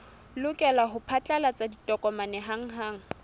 lokela ho phatlalatsa ditokomane hanghang